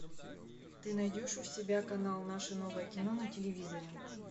ты найдешь у себя канал наше новое кино на телевизоре